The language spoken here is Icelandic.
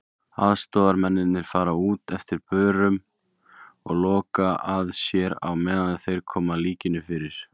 Aðstoðarmennirnir fara út eftir börum og loka að sér á meðan þeir koma líkinu fyrir.